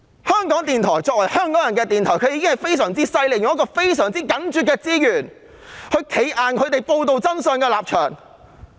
香港電台作為香港人的電台，確實非常厲害，以非常緊絀的資源堅守報道真相的立場。